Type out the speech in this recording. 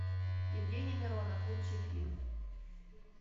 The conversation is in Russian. евгений миронов лучший фильм